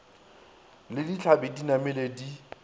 le ditlhabi di namile di